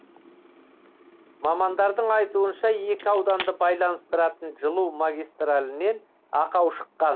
мамандардың айтуынша екі ауданды байланыстыратын жылу магистралінен ақау шыққан